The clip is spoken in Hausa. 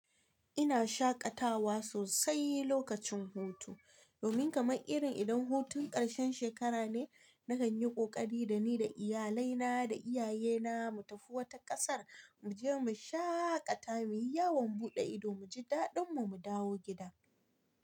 Ina shaƙatawa sosai lokacin hutu. Domin kamar irin idan hutun karshen shekara ne, na kan yi ƙoƙari da ni da iyalai na da iyaye na mu tafi wata ƙasar mu je mu shaƙata, muyi yawon buɗe ido, muji daɗin mu, mu dawo gida.